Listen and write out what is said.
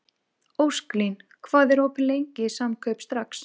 Ósklín, hvað er opið lengi í Samkaup Strax?